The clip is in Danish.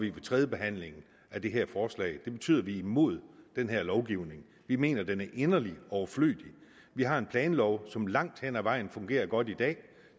er tredjebehandling af det her forslag det betyder at vi er imod den her lovgivning vi mener at den er inderlig overflødig vi har en planlov som langt hen ad vejen fungerer godt i dag